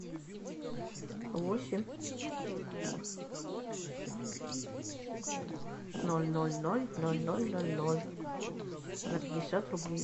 восемь ноль ноль ноль ноль ноль ноль ноль на пятьдесят рублей